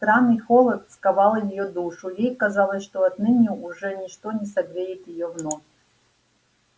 странный холод сковал её душу и ей казалось что отныне уже ничто не согреет её вновь